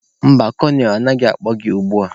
Mba, kolonel anaghị akpọ gị ugbua.